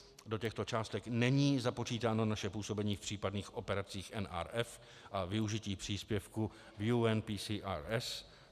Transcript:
Do těchto částek není započítáno naše působení v případných operacích NRF a využití příspěvku v UNPCRS.